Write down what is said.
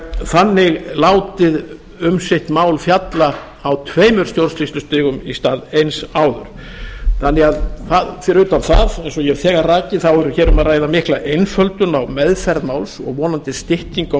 þannig látið um sitt mál fjalla á tveimur stjórnsýslustigum í stað eins áður þannig að fyrir utan það eins og ég hef þegar rakið þá er hér um að ræða mikla einföldun á meðferð máls og vonandi stytting á